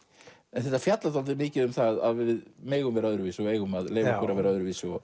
en þetta fjallar dálítið mikið um það að við megum vera öðruvísi og eigum að leyfa okkur að vera öðruvísi